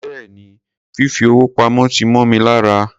Béèni, fìfi owó pamó ti mó mi lára.